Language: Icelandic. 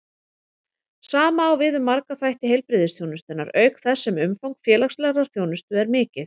Sama á við um marga þætti heilbrigðisþjónustunnar, auk þess sem umfang félagslegrar þjónustu er mikið.